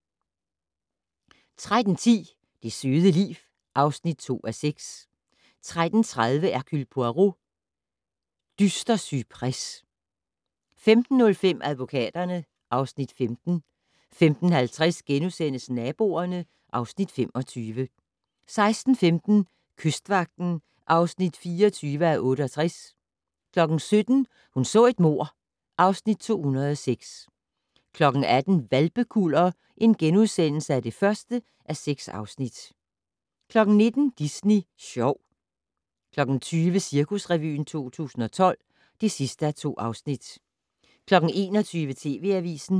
13:10: Det søde liv (2:6) 13:30: Hercule Poirot: Dyster cypres 15:05: Advokaterne (Afs. 15) 15:50: Naboerne (Afs. 25)* 16:15: Kystvagten (24:68) 17:00: Hun så et mord (Afs. 206) 18:00: Hvalpekuller (1:6)* 19:00: Disney Sjov 20:00: Cirkusrevyen 2012 (2:2) 21:00: TV Avisen